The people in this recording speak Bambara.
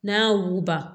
N'a y'a wuguba